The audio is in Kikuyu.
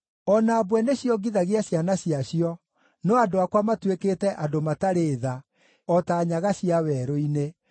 O na mbwe nĩciongithagia ciana ciacio, no andũ akwa matuĩkĩte andũ matarĩ tha, o ta nyaga cia werũ-inĩ.